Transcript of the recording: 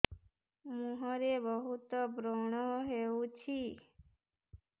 ମୁଁହରେ ବହୁତ ବ୍ରଣ ହଉଛି